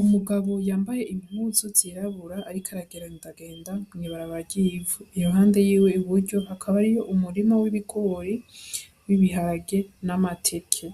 Umugabo yambaye impuzu zirabura ariko aragendagenda mw'ibarabara ry'ivu, iruhande yiwe iburyo hakaba hariho umurima w'ibigori, w'ibiharage n'amateke,